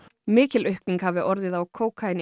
mikil aukning hafi orðið á